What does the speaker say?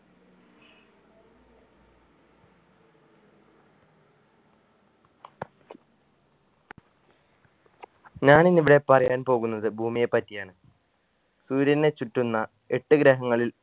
ഞാനിന്നിവിടെ പറയാൻ പോകുന്നത് ഭൂമിയെ പറ്റിയാണ് സൂര്യനെ ചുറ്റുന്ന എട്ട് ഗ്രഹങ്ങളിൽ